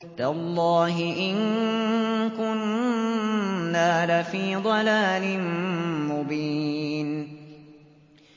تَاللَّهِ إِن كُنَّا لَفِي ضَلَالٍ مُّبِينٍ